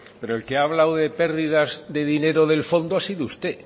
pero el que ha hablado de pérdidas de dinero del fondo ha sido usted